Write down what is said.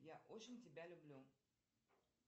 я очень тебя люблю